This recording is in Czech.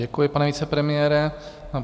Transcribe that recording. Děkuji, pane vicepremiére.